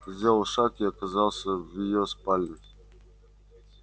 сделал шаг и оказался в её спальне